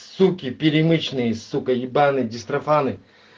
суки перемечные суки ебаные дистрофаны